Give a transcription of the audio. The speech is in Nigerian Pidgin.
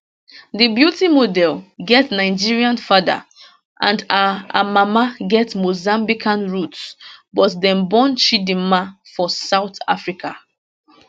di beauty model get nigerian father and her her mama get mozambican roots but dem born chidimma for south africa